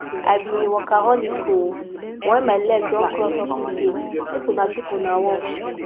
i be a workaholic oo but when my leg don cross office gate make una keep una work